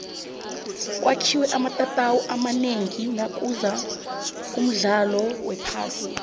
kwakhiwe amatatawu amanengi nakuza umdlalo wephasi